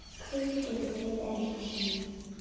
Hvíldu í friði, elsku Summi.